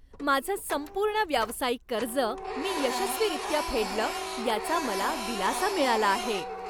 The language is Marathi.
माझं संपूर्ण व्यावसायिक कर्ज मी यशस्वीरित्या फेडलं याचा मला दिलासा मिळाला आहे.